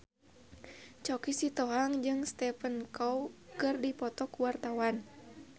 Choky Sitohang jeung Stephen Chow keur dipoto ku wartawan